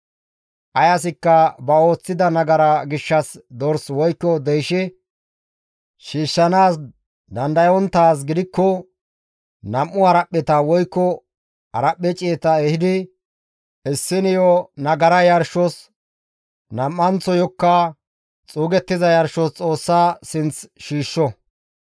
«Ay asikka ba ooththida nagara gishshas dors woykko deyshe shiishshanaas dandayonttaaz gidikko nam7u haraphpheta woykko haraphphe ciyeta ehidi issiniyo nagara yarshos nam7anththayokka xuugettiza yarshos Xoossa sinth shiishsho.